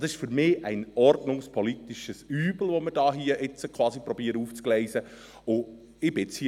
Das ist für mich ein ordnungspolitisches Übel, das wir hier quasi aufzugleisen versuchen.